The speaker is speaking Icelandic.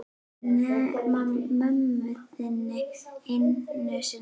Nema mömmu þinni einu sinni.